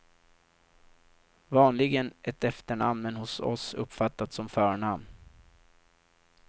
Vanligen ett efternamn men hos oss uppfattat som förnamn.